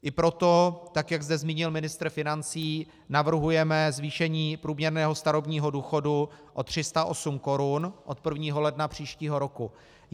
I proto, tak jak zde zmínil ministr financí, navrhujeme zvýšení průměrného starobního důchodu o 308 korun od 1. ledna příštího roku.